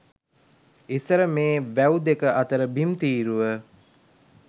ඉස්සර මේ වැව් දෙක අතර බිම් තීරුව